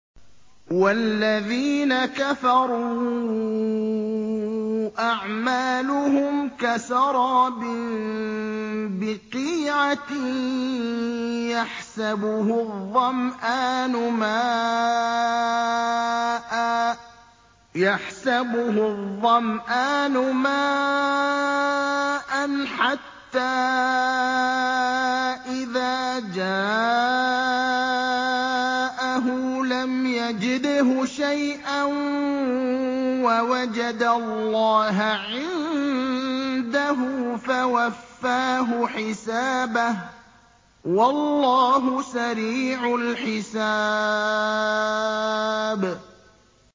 وَالَّذِينَ كَفَرُوا أَعْمَالُهُمْ كَسَرَابٍ بِقِيعَةٍ يَحْسَبُهُ الظَّمْآنُ مَاءً حَتَّىٰ إِذَا جَاءَهُ لَمْ يَجِدْهُ شَيْئًا وَوَجَدَ اللَّهَ عِندَهُ فَوَفَّاهُ حِسَابَهُ ۗ وَاللَّهُ سَرِيعُ الْحِسَابِ